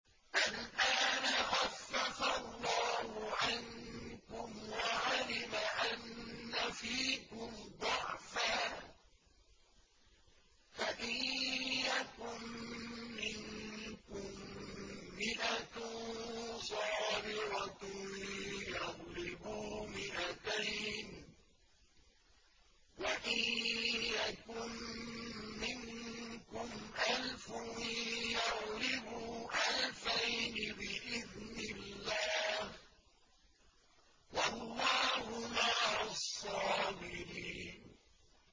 الْآنَ خَفَّفَ اللَّهُ عَنكُمْ وَعَلِمَ أَنَّ فِيكُمْ ضَعْفًا ۚ فَإِن يَكُن مِّنكُم مِّائَةٌ صَابِرَةٌ يَغْلِبُوا مِائَتَيْنِ ۚ وَإِن يَكُن مِّنكُمْ أَلْفٌ يَغْلِبُوا أَلْفَيْنِ بِإِذْنِ اللَّهِ ۗ وَاللَّهُ مَعَ الصَّابِرِينَ